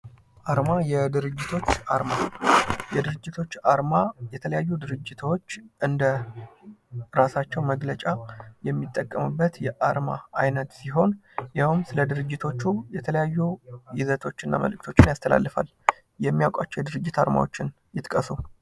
አርማ የድርጅቶች አርማ የድርጅቶች አርማ የተለያዩ ድርጅቶች እንደ እራሳቸው መግለጫ የሚጠቀሙበት የአርማ አይነት ሲሆን ይሀውም ስለድርጅቶቹ የተለያዩ ይዘቶችንና መልዕክቶችን ያስተላልፋል። የሚያውቋቸው የድርጅት አርማወችን ይጥቀሱ።